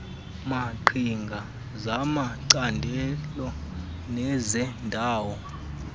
maqhinga zamacandelo nezeendawo